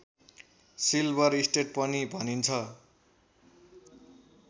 silver state पनि भनिन्छ